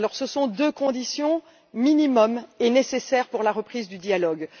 Alors, ce sont deux conditions minimums et nécessaires pour la reprise du dialogue.